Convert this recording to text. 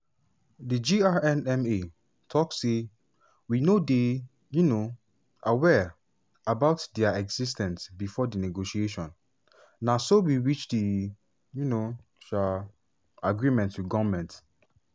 di grnma tok say "we no dey um aware about dia exis ten ce during di negotiation na so we reach di um um agreement wit goment.